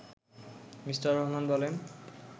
me: Rahman বলেন